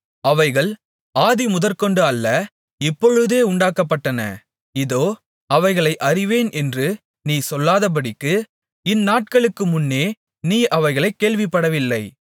அவைகள் ஆதிமுதற்கொண்டு அல்ல இப்பொழுதே உண்டாக்கப்பட்டன இதோ அவைகளை அறிவேன் என்று நீ சொல்லாதபடிக்கு இந்நாட்களுக்கு முன்னே நீ அவைகளைக் கேள்விப்படவில்லை